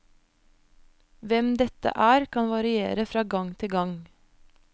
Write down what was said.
Hvem dette er, kan variere fra gang til gang.